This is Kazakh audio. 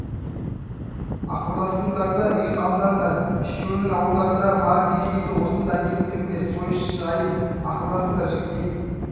ақылдасыңдар да үй қамдаңдар үшеуіңнің ауылдарыңдағы бар киіз үйді осында әкеп тігіңдер сойыс жайын ақылдасыңдар жігітек